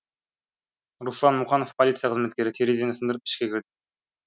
руслан мұқанов полиция қызметкері терезені сындырып ішке кірдік